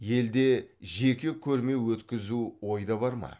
елде жеке көрме өткізу ойда бар ма